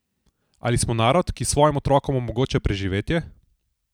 Ali smo narod, ki svojim otrokom omogoča preživetje?